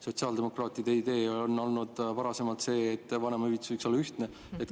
Sotsiaaldemokraatide idee on varem olnud see, et vanemahüvitis võiks olla ühtne.